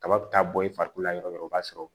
Kaba bɛ taa bɔ i farikolo la yɔrɔ dɔ b'a sɔrɔ